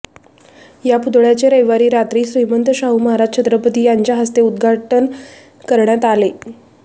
या पुतळ्याचे रविवारी रात्री श्रीमंत शाहू महाराज छत्रपती यांच्या हस्ते उद्घाटन करण्यात आले